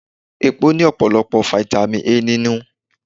Epo Pupa ní ọ̀pọ̀lọpọ̀ Fáítámì A nínú.